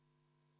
Palun!